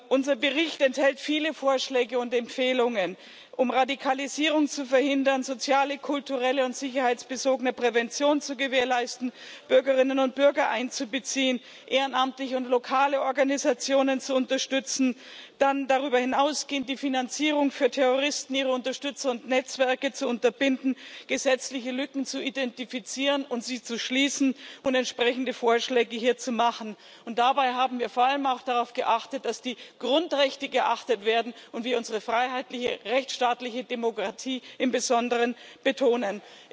Unser Bericht enthält viele Vorschläge und Empfehlungen, um Radikalisierung zu verhindern, soziale, kulturelle und sicherheitsbezogene Prävention zu gewährleisten, Bürgerinnen und Bürger ehrenamtlich einzubeziehen und lokale Organisationen zu unterstützen, dann, darüber hinausgehend, die Finanzierung für Terroristen, ihre Unterstützer und Netzwerke zu unterbinden, gesetzliche Lücken zu identifizieren und sie zu schließen und entsprechende Vorschläge zu machen. Dabei haben wir vor allem auch darauf geachtet, dass die Grundrechte geachtet werden und wir unsere freiheitliche, rechtsstaatliche Demokratie im Besonderen betonen.